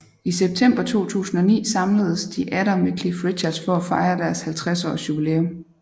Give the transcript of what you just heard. I september 2009 samledes de atter med Cliff Richard for at fejre deres 50 års jubilæum